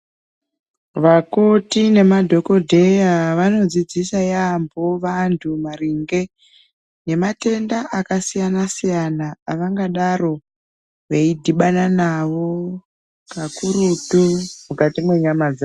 Vakoti nemadhokodheya vanodzidzisa vanhu yaamho maringe ngematenda akasiyana siyana avangadaro veidhibana navo kakurutu mukati menyama dzavo.